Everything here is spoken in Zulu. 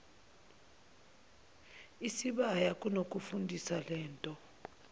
isibaya kunokufundisa lento